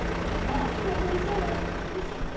Var Ragnar búinn að segja þér það sem hann vissi?